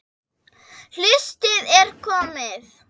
Haustið er komið.